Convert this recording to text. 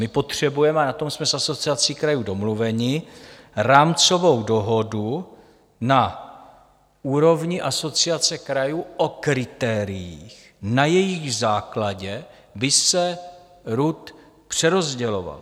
My potřebujeme, a na tom jsme s Asociací krajů domluveni, rámcovou dohodu na úrovni Asociace krajů o kritériích, na jejichž základě by se RUD přerozděloval.